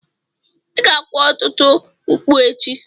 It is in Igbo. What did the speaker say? Ị ga-kwa ọtụtụ mkpu echi.